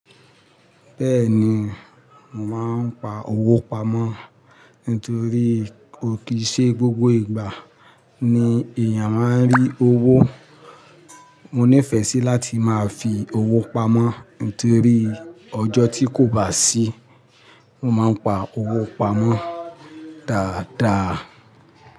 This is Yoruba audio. Bẹ́ẹ̀ni, mò mań pa owó pamọ́ nítorí kó kì í ṣe gbogbo ìgbà ni èèyàn máa ń rí owó. Mo nífẹ̀ẹ́ sí láti máa fi owó pamọ́ nítorí ọjọ́ tí kò bá sí, mo máa ń pa owó pamọ́ dáadáa.